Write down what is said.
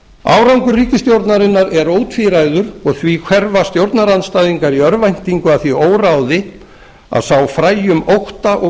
árangur ríkisstjórnarinnar er ótvíræður og því hverfa stjórnarandstæðingar í örvæntingu að því óráði að sá fræjum ótta og